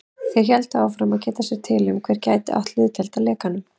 Þeir héldu áfram að geta sér til um, hver gæti átt hlutdeild að lekanum.